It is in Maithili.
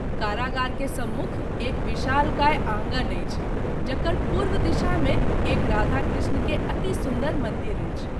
कारागार के सम्मुख एक विशालकाय आंगन अछि जकर पूर्व दिशा मे एक राधा कृष्ण के अति सुन्दर मंदिर अछि।